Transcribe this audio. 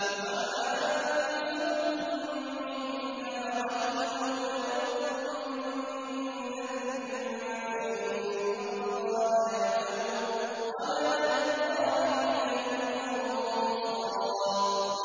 وَمَا أَنفَقْتُم مِّن نَّفَقَةٍ أَوْ نَذَرْتُم مِّن نَّذْرٍ فَإِنَّ اللَّهَ يَعْلَمُهُ ۗ وَمَا لِلظَّالِمِينَ مِنْ أَنصَارٍ